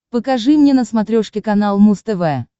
покажи мне на смотрешке канал муз тв